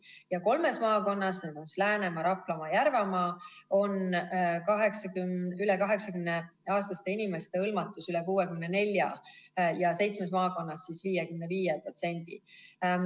Ja kolmes maakonnas – Läänemaa, Raplamaa ja Järvamaa – on üle 80-aastaste inimeste hõlmatus üle 64% ja seitsmes maakonnas 55%.